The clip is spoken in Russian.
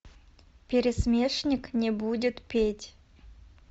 пересмешник не будет петь